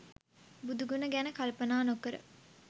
බුදු ගුණ ගැන කල්පනා නොකර